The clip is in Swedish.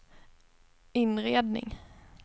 inredning